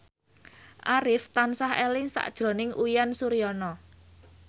Arif tansah eling sakjroning Uyan Suryana